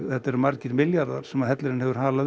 þetta eru margir milljarðar sem hellirinn hefur halað